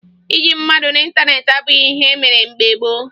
Ịyị mmadụ n'ịntaneetị abụghị ihe e mere mgbe gboo